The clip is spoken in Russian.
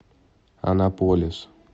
анаполис